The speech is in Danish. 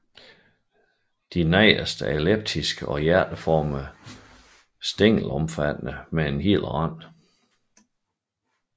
De nedre er elliptiske og hjerteformet stængelomfattende med hel rand